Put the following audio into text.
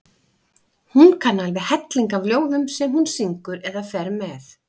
Hún kann alveg helling af ljóðum sem hún syngur eða fer með.